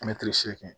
segin